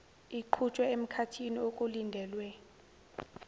iqhutshwe emkhathini okulindelwe